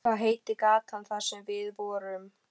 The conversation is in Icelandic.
Hvað heitir gatan þar sem við vorum?